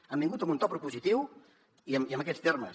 hem vingut amb un to propositiu i amb aquests termes